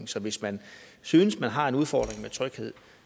så hvis man synes man har en udfordring med tryghed